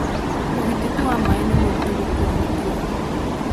Ũgitĩti wa maaĩ nĩ mũritũ gũtua matua